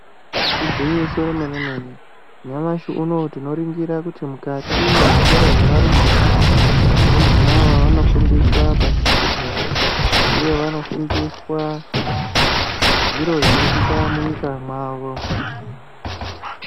Igwinyiso yemene mene , nyamashi unowu tinoringira kuti mukati mwezvikora zvevarumbwana ,varumbwanavo vanofundiswa pasichigare uye vanofundiswa zviro zvinoitika munyika mwavo .